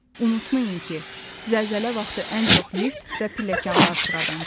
Unutmayın ki, zəlzələ vaxtı ən çox lift və pilləkənlər sıradan çıxır.